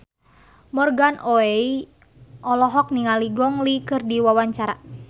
Morgan Oey olohok ningali Gong Li keur diwawancara